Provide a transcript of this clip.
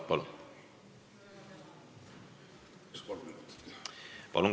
Palun!